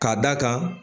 Ka d'a kan